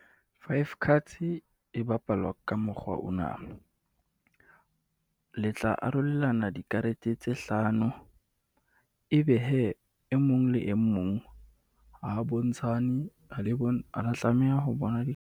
Five cards e bapalwa ka mokgwa ona. Le tla arolelana dikarete tse hlano. E be hee e mong le e mong, ha a bontshane, ha le , ha a tlameha ho bona .